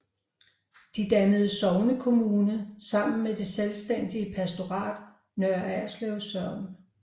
De dannede sognekommune sammen med det selvstændige pastorat Nørre Ørslev Sogn